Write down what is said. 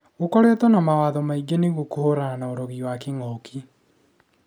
Gũkoretwe na mawatho maingĩ nĩguo kũhurana na ũrogi wa kĩngũki